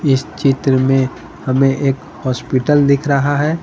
इस चित्र में हमें एक हॉस्पिटल दिख रहा है।